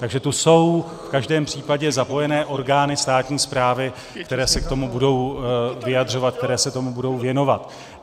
Takže tu jsou v každém případě zapojené orgány státní správy, které se k tomu budou vyjadřovat, které se tomu budou věnovat.